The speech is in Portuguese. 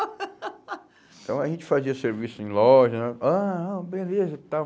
Então a gente fazia serviço em loja, ah, ah, beleza e tal.